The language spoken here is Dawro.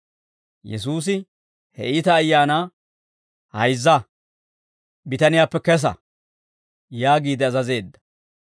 Yesuusi he iita ayaanaa, «Hayzza; bitaniyaappe kesa» yaagiide azazeedda.